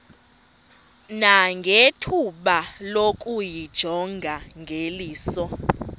nangethuba lokuyijonga ngeliso